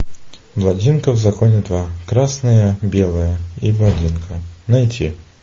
блондинка в законе два красное белое и блондинка найти